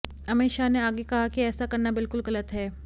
अमित शाह ने आगे कहा कि ऐसा करना बिल्कुल गलत है